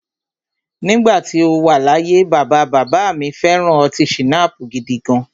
Nígbà tí o wà láyé, bàbá bàbá à mi fẹ̀ran ọtí schnapps gidigan.